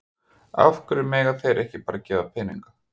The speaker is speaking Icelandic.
Af hverju mega þeir ekki bara gefa peninga?